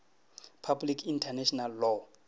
public international law